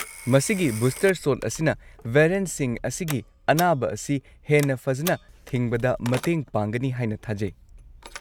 ꯃꯁꯤꯒꯤ booster shot ꯑꯁꯤꯅ ꯚꯦꯔꯤꯑꯦꯟꯠꯁꯤꯡ ꯑꯁꯤꯒꯤ ꯑꯅꯥꯕ ꯑꯁꯤ ꯍꯦꯟꯅ ꯐꯖꯅ ꯊꯤꯡꯕꯗ ꯃꯇꯦꯡ ꯄꯥꯡꯒꯅꯤ ꯍꯥꯏꯅ ꯊꯥꯖꯩ꯫